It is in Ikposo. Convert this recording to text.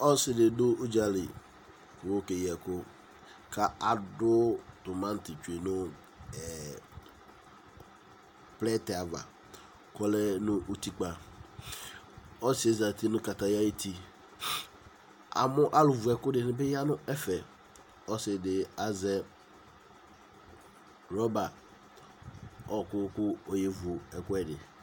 Ɔsi di du udza li ku ekeyi ɛku ka adu tomati bi nu plɛtɛ ava ku ɔlɛ nu utikpa ɔsi yɛ za nu kataya ayu ti Amu alu vʊ ɛku niya nu ɛfɛ Ɔsi di azɛ rɔba ɔku kɔye vu ɛkuɛ di